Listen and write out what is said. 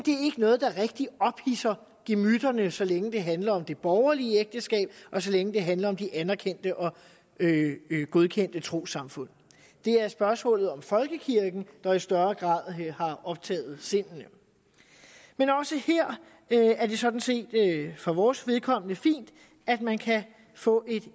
noget der rigtig ophidser gemytterne så længe det handler om det borgerlige ægteskab og så længe det handler om de anerkendte og godkendte trossamfund det er spørgsmålet om folkekirken der i større grad har optaget sindene men også her er det sådan set for vores vedkommende fint at man kan få et